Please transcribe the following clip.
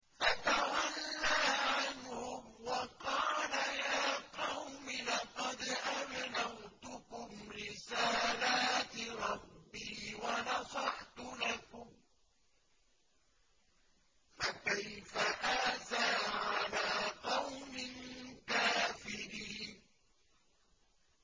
فَتَوَلَّىٰ عَنْهُمْ وَقَالَ يَا قَوْمِ لَقَدْ أَبْلَغْتُكُمْ رِسَالَاتِ رَبِّي وَنَصَحْتُ لَكُمْ ۖ فَكَيْفَ آسَىٰ عَلَىٰ قَوْمٍ كَافِرِينَ